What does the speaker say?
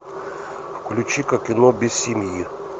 включи ка кино без семьи